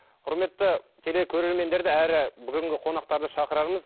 құрметті телекөрермендерді әрі бүгінгі қонақтарды шақырарымыз